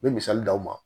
Me misali d'aw ma